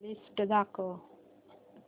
list दाखव